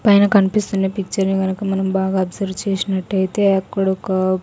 పైన కన్పిస్తున్న పిక్చర్ ని గనక మనం బాగా అబ్జర్వ్ చేసినట్టయితే అక్కడొక--